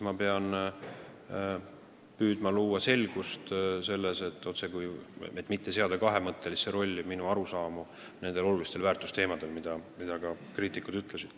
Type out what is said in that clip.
Ma pean püüdma asjas selgust luua, et mitte seada kahtluse alla minu arusaamu nendest olulistest väärtustest, millele kriitikud on viidanud.